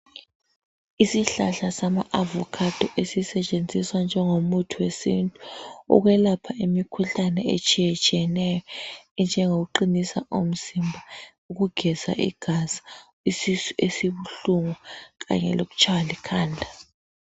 Isihlahla sama"avocado" esisetshenziswa njengomuthi wesintu ukwelapha imikhuhlane etshiyetshiyeneyo enjengokuqinisa umzimba ,ukugeza igazi, isisu esibuhlungu kanye lokutshaywa likhanda